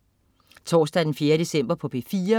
Torsdag den 4. december - P4: